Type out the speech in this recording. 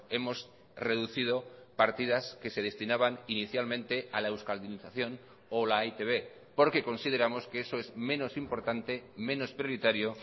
hemos reducido partidas que se destinaban inicialmente a la euskaldunización o la e i te be porque consideramos que eso es menos importante menos prioritario